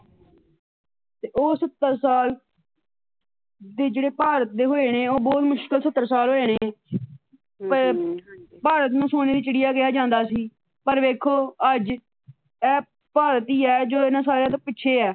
ਤੇ ਉਹ ਸੱਤਰ ਸਾਲ ਜਿਹੜੇ ਭਾਰਤ ਦੇ ਹੋਏ ਨੇ ਉਹ ਬੜੇ ਮੁਸ਼ਕਿੱਲ ਸੱਤਰ ਸਾਲ ਹੋਏ ਨੇ। ਪਰ ਭਾਰਤ ਨੂੰ ਸੋਨੇ ਦੀ ਚਿੜੀਆ ਕਿਹਾ ਜਾਂਦਾ ਸੀ। ਪਰ ਵੇਖੋ ਅੱਜ ਇਹ ਭਾਰਤੀ ਹੀ ਆ ਜੋ ਇਹਨਾ ਸਾਰਿਆ ਤੋਂ ਪਿੱਛੇ ਆ।